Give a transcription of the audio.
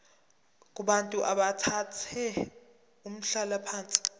kubantu abathathe umhlalaphansi